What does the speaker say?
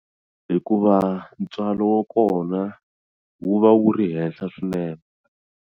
Hikuva ntswalo wa kona wu va wu ri henhla swinene.